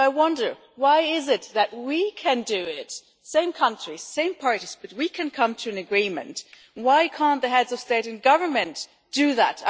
So I wonder why it is that if we same country, same parties can come to an agreement, why can't the Heads of State and Government do that?